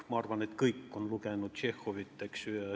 Ma arvan, et kõik on lugenud Tšehhovit.